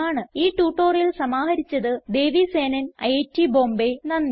ഈ ട്യൂട്ടോറിയൽ സമാഹരിച്ചത് ദേവി സേനൻ ഐറ്റ് ബോംബേ നന്ദി